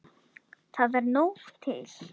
Það er nóg til.